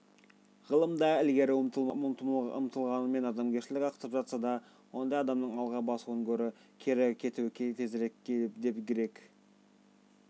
ғылымда ілгері ұмтылғанмен адамгершілігі ақсап жатса ондай адамның алға басуынан гөрі кері кетуі тезірек деп грек